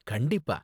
கண்டிப்பா.